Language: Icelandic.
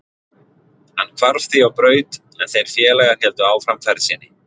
Hann hvarf því á braut en þeir félagar héldu áfram ferð sinni.